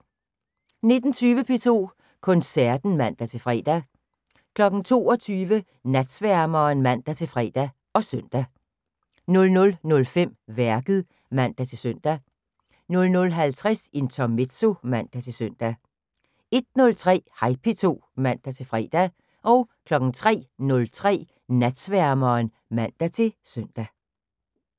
19:20: P2 Koncerten (man-fre) 22:00: Natsværmeren (man-fre og søn) 00:05: Værket (man-søn) 00:50: Intermezzo (man-søn) 01:03: Hej P2 (man-fre) 03:03: Natsværmeren (man-søn)